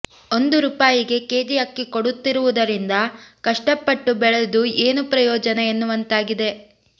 ಒಂದು ರೂಪಾಯಿಗೆ ಕೆಜಿ ಅಕ್ಕಿ ಕೊಡುತ್ತಿರುವುದರಿಂದ ಕಷ್ಟಪಟ್ಟು ಬೆಳೆದು ಏನು ಪ್ರಯೋಜನ ಎನ್ನುವಂತಾಗಿದೆ